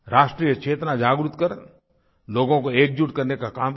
राष्ट्रीयचेतना जागृत कर लोगों को एकजुट करने का काम किया